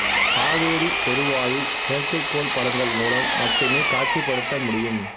காவேரி பெருவாயை செயற்கைக்கோள் படங்கள் மூலம் மட்டுமே காட்சிப்படுத்த முடியும்